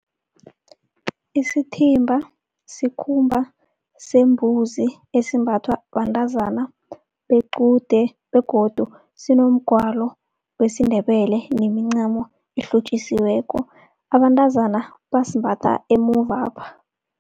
Isithimba sikhumba sembuzi esimbathwa bantazana bequde begodu sinomgwalo wesiNdebele nemincamo elihlotjisiweko. Abantazana basimbatha emuvapha.